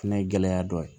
Fɛnɛ ye gɛlɛya dɔ ye